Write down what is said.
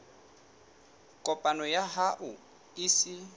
kopo ya hao e se